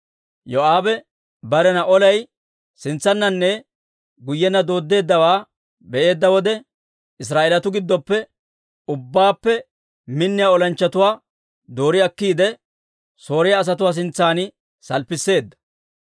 Yoo'aabe barena olay sintsananne guyyenna dooddeeddawaa be'eedda wode, Israa'eelatuu giddoppe ubbaappe minniyaa olanchchatuwaa doori akkiide, Sooriyaa asatuwaa sintsan salppisseedda.